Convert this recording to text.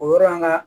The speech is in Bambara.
O yɔrɔ an ka